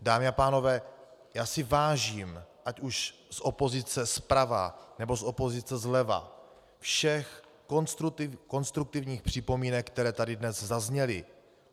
Dámy a pánové, já si vážím, ať už z opozice zprava, nebo z opozice zleva, všech konstruktivních připomínek, které tady dnes zazněly.